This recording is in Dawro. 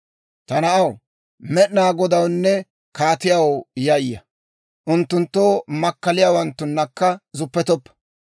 Ta na'aw, Med'inaa Godawunne kaatiyaw yayya; unttunttoo makkaliyaawanttunakka zuppetoppa.